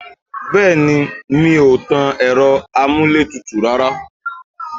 Bẹẹni, mi ò tan Ẹ̀rọ-amuletutu rárá.